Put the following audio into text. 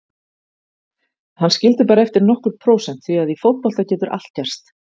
Hann skildi bara eftir nokkur prósent því að í fótbolta getur allt gerst.